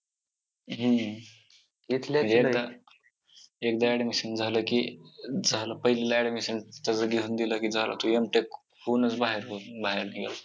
हम्म एकदा admission झालं की झालं पहिलीला admission सगळं दिलं की झालं तो M. Tech होऊनच बाहेर निघेल.